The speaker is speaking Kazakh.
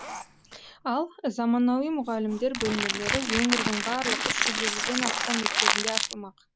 ал заманауи мұғалімдер бөлмелері өңірдің барлық үш жүз елуден астам мектебінде ашылмақ